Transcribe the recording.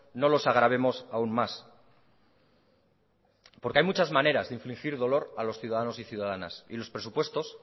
no los agravemos aún más porque hay muchas maneras de infligir dolor a los ciudadanos y ciudadanos y los presupuestos